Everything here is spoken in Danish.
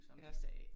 Som de sagde